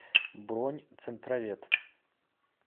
бронь центровет